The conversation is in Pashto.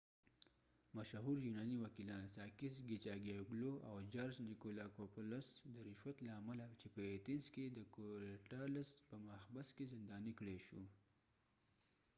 مشهور یونانی وکېلان ساکېس کېچاګیې وګلو sakis kichagiouglouاو جارج نیکولاکوپولس george nikolakopoulos د رشوت له امله چې په ایتنز کې د کوریډالس korydallus په محبس کې زندانی کړای شو